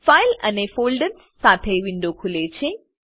file અને folders સાથે window ખુલે છે